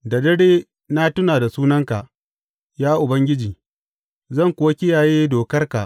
Da dare na tuna da sunanka, ya Ubangiji, zan kuwa kiyaye dokarka.